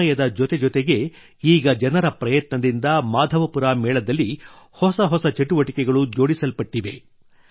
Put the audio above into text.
ಸಮಯದ ಜತೆಜತೆಗೇ ಈಗ ಜನರ ಪ್ರಯತ್ನದಿಂದ ಮಾಧವಪುರ ಮೇಳದಲ್ಲಿ ಹೊಸ ಹೊಸ ಚಟುವಟಿಕೆಗಳೂ ಜೋಡಿಸಲ್ಪಟ್ಟಿವೆ